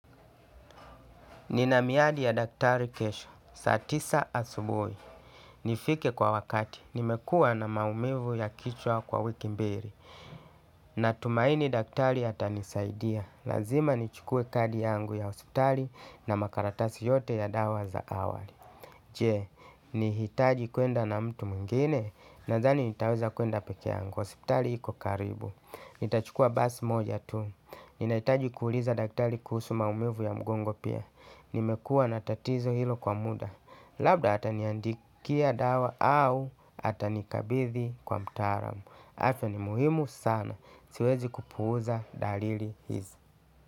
Ninamiadi ya daktari kesho. Saa tisa asubui. Nifike kwa wakati. Nimekua na maumivu ya kichwa kwa wiki mbiri. Natumaini daktari hata nisaidia. Lazima nichukue kadi yangu ya osiptari na makaratasi yote ya dawa za awali. Je, nihitaji kwenda na mtu mungine na zani nitaweza kwenda peke yangu. Osiptari hiko karibu. Nitachukua basi moja tu. Ninaitaji kuuliza daktali kuhusu maumivu ya mgongo pia. Nimekua na tatizo hilo kwa muda. Labda ataniandikia dawa au atanikabithi kwa mtaramu afya ni muhimu sana. Siwezi kupuuza dalili hizi.